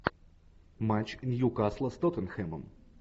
матч ньюкасла с тоттенхэмом